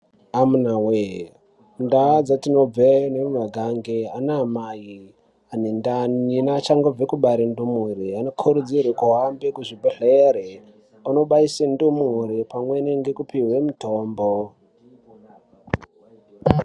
Amunawe ndau dzatinobve nemumagange anaamai ane ndani neachangobve kubare ndumure anokurudzirwe kuhambe kuzvibhedhlere andobaise ndumure pamweni nekupihwe mutombo.